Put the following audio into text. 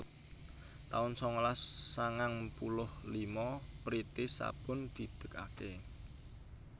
taun sangalas sangang puluh lima Priti sabun didegake